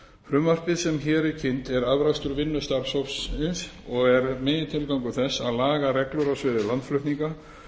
frumvarpið sem hér er kynnt er afrakstur vinnu starfshópsins og er megintilgangur þess að laga reglur á sviði landflutninga